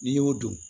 N'i y'o dun